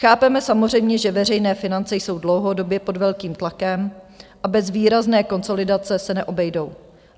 Chápeme samozřejmě, že veřejné finance jsou dlouhodobě pod velkým tlakem a bez výrazné konsolidace se neobejdou.